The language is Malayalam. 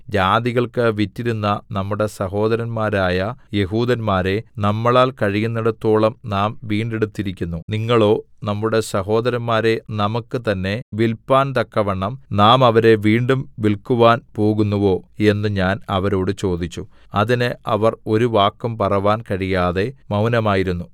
ജാതികൾക്ക് വിറ്റിരുന്ന നമ്മുടെ സഹോദരന്മാരായ യെഹൂദന്മാരെ നമ്മളാൽ കഴിയുന്നേടത്തോളം നാം വീണ്ടെടുത്തിരിക്കുന്നു നിങ്ങളോ നമ്മുടെ സഹോദരന്മാരെ നമുക്ക് തന്നെ വില്പാന്തക്കവണ്ണം നാം അവരെ വീണ്ടും വിൽക്കാൻ പോകുന്നുവോ എന്ന് ഞാൻ അവരോട് ചോദിച്ചു അതിന് അവർ ഒരു വാക്കും പറവാൻ കഴിയാതെ മൗനമായിരുന്നു